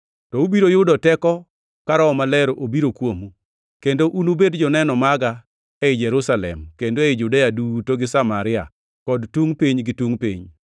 To ubiro yudo teko ka Roho Maler obiro kuomu; kendo unubed joneno maga ei Jerusalem kendo ei Judea duto gi Samaria, kod tungʼ piny gi tungʼ piny.”